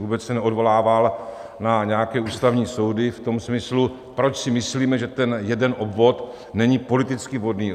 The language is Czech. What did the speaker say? Vůbec se neodvolával na nějaké ústavní soudy v tom smyslu, proč si myslíme, že ten jeden obvod není politicky vhodný.